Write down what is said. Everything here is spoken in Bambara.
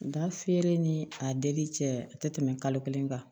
Nka feere ni a deli cɛ a tɛ tɛmɛ kalo kelen kan